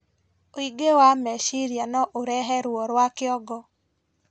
ũingĩ wa mecirĩa noũrehe ruo rwa kĩongo